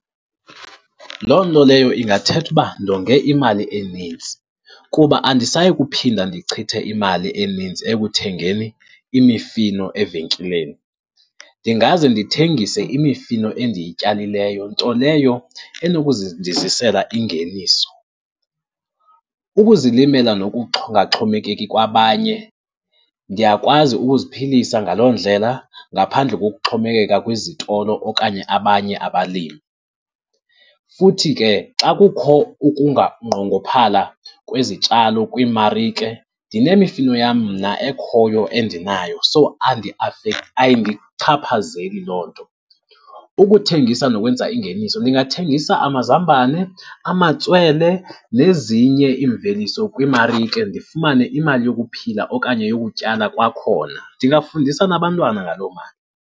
Loo nto leyo ingathetha uba ndonge imali enintsi kuba andisayi kuphinda ndichithe imali enintsi ekuthengeni imifino evenkileni. Ndingaze ndithengise imifino endiyityalileyo, nto leyo ndizisela ingeniso. Ukuzilimela nokungaxhomekeki kwabanye, ndiyakwazi ukuziphilisa ngaloo ndlela ngaphandle kokuxhomekeka kwizitolo okanye abanye abalimi, futhi ke xa kukho nqongophala kwezityalo kwiimarike, ndinemifino yam mna ekhoyo endinayo so ayindichaphazeli loo nto. Ukuthengisa nokwenza ingeniso, ndingathengisa amazambane, amatswele nezinye iimveliso kwiimarike ndifumane imali yokuphila okanye yokutyala kwakhona. Ndingafundisa nabantwana ngaloo mali.